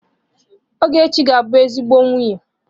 Ogechi ga-abụ ezigbo nwunye.